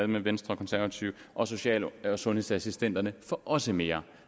med venstre og konservative og social og sundhedsassistenterne får også mere